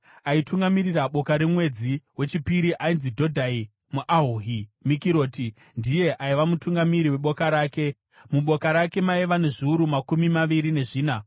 Aitungamirira boka remwedzi wechipiri ainzi Dhodhai muAhohi; Mikiroti ndiye aiva mutungamiri weboka rake. Muboka rake maiva nezviuru makumi maviri nezvina.